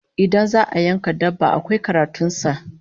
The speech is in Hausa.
Idan za'a yanka dabba, akwai karatun sa